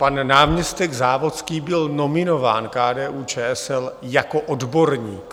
Pan náměstek Závodský byl nominován KDU-ČSL jako odborník.